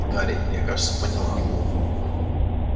гарри я кажется поняла